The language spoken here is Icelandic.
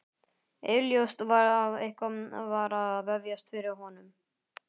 Augljóst var að eitthvað var að vefjast fyrir honum.